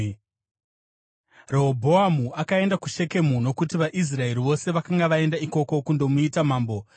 Rehobhoamu akaenda kuShekemu, nokuti vaIsraeri vose vakanga vaenda ikoko kundomuita mambo.